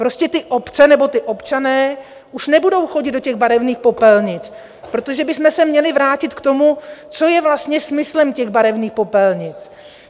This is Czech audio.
Prostě ty obce nebo ti občané už nebudou chodit do těch barevných popelnic - protože bychom se měli vrátit k tomu, co je vlastně smyslem těch barevných popelnic.